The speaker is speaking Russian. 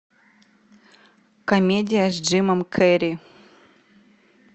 комедия с джимом керри